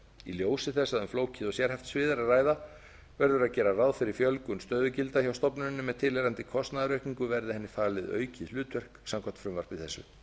í ljósi þess að um flókið og sérhæft svið er að ræða verður að gera ráð fyrir fjölgun stöðugilda hjá stofnuninni með tilheyrandi kostnaðaraukningu verði henni falið aukið hlutverk samkvæmt frumvarpi þessu